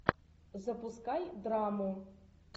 запускай драму